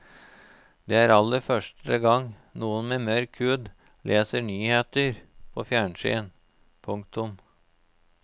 Det er aller første gang noen med mørk hud leser nyheter på fjernsyn. punktum